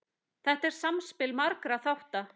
Þetta er samspil margra þátta.